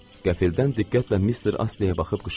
Qəfildən diqqətlə Mister Astleye baxıb qışqırdım.